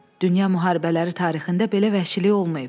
Dünya müharibələri tarixində belə vəhşilik olmayıb.